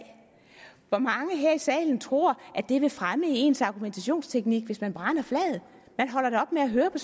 hvor mange her i salen tror at det vil fremme ens argumentationsteknik hvis man brænder flaget man holder op med at høre på